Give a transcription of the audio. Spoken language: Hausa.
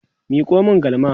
Miko min galma!